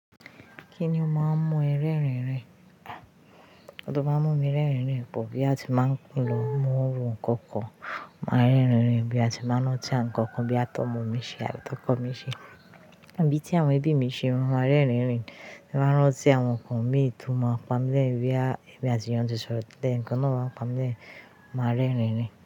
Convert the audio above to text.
Kíni ó máa ń mú ẹ rẹ́rin-in rìn? Oun tó máa ń múmi rẹ́rìn-in rìn pọ̀, bóyá ti máa ń lọ mú nkankan, máa rẹ́rìn-in rìn bóyá ti n bá ń rántí àwọn nkankan, bóyá tómo mi ṣe àbí tókọ mi ṣe. Àbí tí àwọn ẹbí mi ṣe mo máa rẹ́rìn-in rin, bí n bá rántí àwọn nkàn míì tó máa pami lẹ́ẹ́rìn bóyá èmi àtì'yàn ti sọ̀rọ̀ télè nkan náà wá ń pami lẹ́ẹ́rìn, máa rẹ́rìn-in rin.